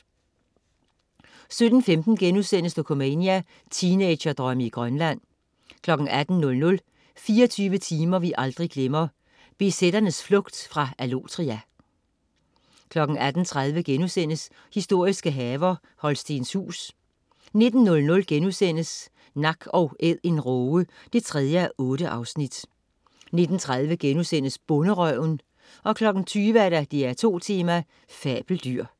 17.15 Dokumania: Teenagerdrømme i Grønland* 18.00 24 timer vi aldrig glemmer: BZ'ernes flugt fra Allotria* 18.30 Historiske haver: Holstenshuus* 19.00 Nak & Æd en råge 3:8* 19.30 Bonderøven* 20.00 DR2 Tema: Fabeldyr